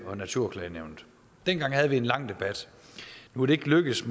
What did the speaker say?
og naturklagenævnet dengang havde vi en lang debat nu er det ikke lykkedes